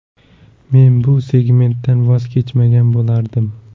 Men bu segmentdan voz kechmagan bo‘lardim.